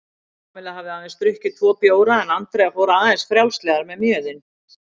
Kamilla hafði aðeins drukkið tvo bjóra en Andrea fór aðeins frjálslegar með mjöðinn.